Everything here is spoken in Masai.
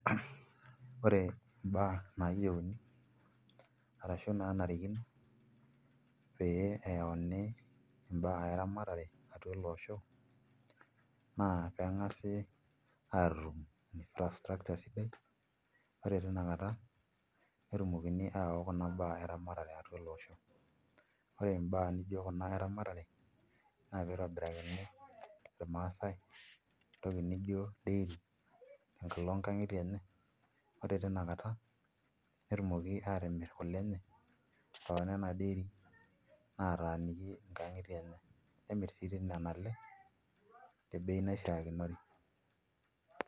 Ore mbaa naayieuni arashu naanarikino pee eyauni imbaa eramatare atu ele osho naa pee ang'asi aatum infrastructure sidai ore tina kata netumokini ayaau kuna baa eramatare atua ele osho. Ore mbaa nijio kuna eramatare naa pee itobirakini irmaasai entoki nijio dairy tenkalo nkang'itie enye ore tina kata netumoki aatimirr kule enye too nena dairy naataaniki nkang'itie enye nemirr sii toi nena ale te bei naishikinore.